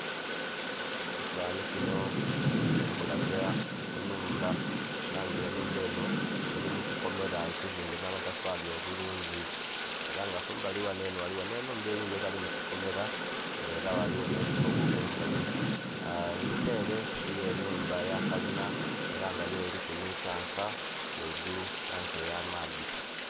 Ekifanhanhi kino kili kukulaga enhumba, ela nga enhumba enho eli mu kikomela ekizimbe nh'amatafaali obulungi. Ela nga kumbali ghano enho ghaligho nh'enhumba eyindhi etali mu kikomela, nga ela ghaligho nh'ebigogo kumbali. Enhuma ele eliyo enhumba ya kalina, ela nga yo eliku nhi tanka ghaigulu, tanka ey'amaadhi.